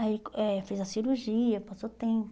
Aí, eh fez a cirurgia, passou tempo.